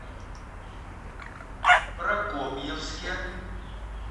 прокопьевске